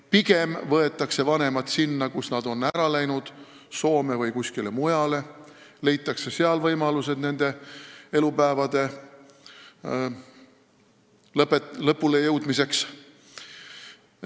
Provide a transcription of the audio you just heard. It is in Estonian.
Pigem võetakse vanemad sinna, kuhu lapsed on läinud, Soome või kuskile mujale, leitakse seal vanematele võimalused elada oma elupäevade lõpule jõudmiseni.